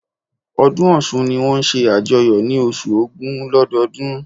Ọdún Ọ̀sun ni wón n se àjoyọ̀ ni osu ògún lọ́dọọdún